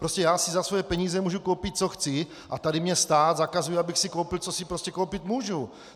Prostě já si za své peníze mohu koupit, co chci, a tady mi stát zakazuje, abych si koupil, co si prostě koupit můžu.